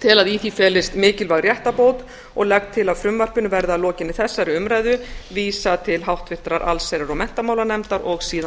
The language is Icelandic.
tel að í því felist mikilvæg réttarbót og legg til að frumvarpinu verði að lokinni þessari umræðu vísað til háttvirtrar allsherjar og menntamálanefndar og síðan